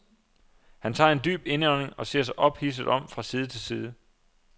Han tager en dyb indånding og ser sig ophidset om fra side til side.